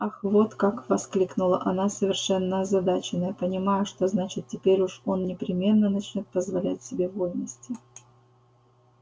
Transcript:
ах вот как воскликнула она совершенно озадаченная понимая что значит теперь уж он непременно начнёт позволять себе вольности